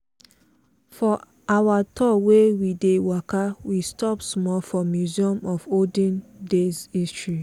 for our tour wey we dey waka we stop small for museum of olden days history.